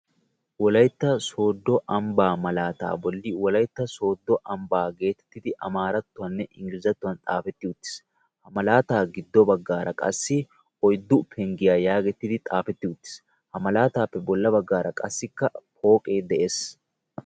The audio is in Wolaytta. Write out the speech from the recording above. Wolaytta sooddo ambbaa malaataa bolli wolaytta sooddo ambbaa geetettidi amaarattuwaninne inggilzzattuwan xaafetti uttiis. Ha malaataa giddo baggaara qassi oyddu penggiya yaagettidi xaafetti uttiis. Ha malaataappe bolla baggaara qassikka pooqee de'ees.